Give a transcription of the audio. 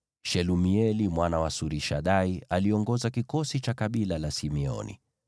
Shelumieli mwana wa Surishadai aliongoza kikosi cha kabila la Simeoni,